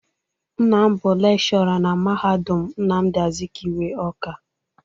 Nna m bụ lekshọra na Mahadu Nnamdị Azikiwe, Ọ́ká.